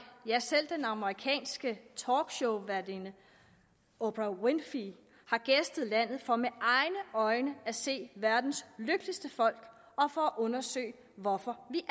ja selv den amerikanske talkshowværtinde oprah winfrey har gæstet landet for med egne at se verdens lykkeligste folk og for at undersøge hvorfor vi